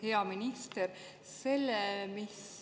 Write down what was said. Hea minister!